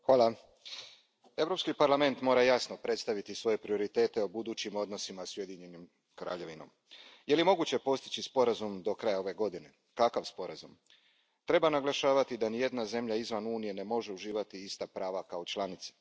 Poštovana predsjedavajuća, Europski parlament mora jasno predstaviti svoje prioritete o budućim odnosima s Ujedinjenom Kraljevinom. Je li moguće postići sporazum do kraja ove godine? Kakav sporazum? Treba naglašavati da nijedna zemlja izvan Unije ne može uživati ista prava kao članica.